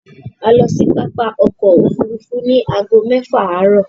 A lọ sí pápá ọkọ̀-òfurufú ní ago mẹ́fà àárọ̀.